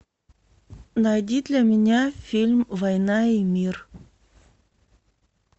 найди для меня фильм война и мир